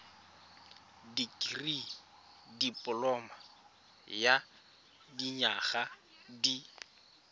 dikirii dipoloma ya dinyaga di